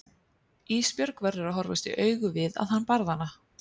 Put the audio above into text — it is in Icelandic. Ísbjörg verður að horfast í augu við að hann barði hana.